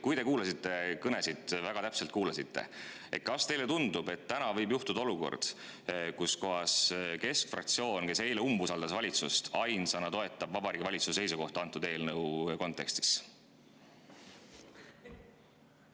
Kui te kuulasite kõnesid, väga täpselt kuulasite, siis kas teile ei tundu, et täna võib juhtuda, et keskfraktsioon, kes eile umbusaldas valitsust, ainsana toetab Vabariigi Valitsuse seisukohta antud eelnõu kontekstis?